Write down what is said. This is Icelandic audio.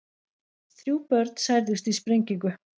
Þrjú börn særðust í sprengingu